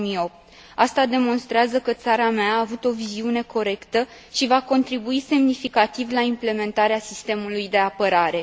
2008. Asta demonstrează că țara mea a avut o viziune corectă și va contribui semnificativ la implementarea sistemului de apărare.